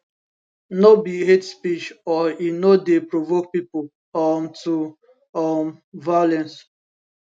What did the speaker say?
no be hate speech or e no dey provoke pipo um to um violence